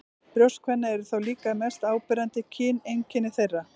Brjóst kvenna eru þó líka eitt mest áberandi kyneinkenni þeirra.